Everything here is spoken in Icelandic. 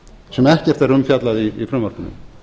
sem ekkert er um fjallað í frumvarpinu